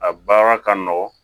A baara ka nɔgɔn